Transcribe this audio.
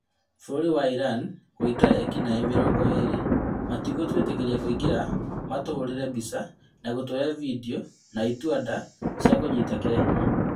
Bũrũri wa Iran gũita ekinaĩ mĩrongo ĩrĩ, "matĩgũtwĩtĩkiria kũingĩra matũhũrire mbica na gũtwoya video na itua nda cia gũtũnyita kĩahinya